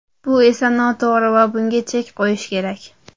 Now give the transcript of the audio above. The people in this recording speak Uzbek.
Bu esa noto‘g‘ri va bunga chek qo‘yish kerak.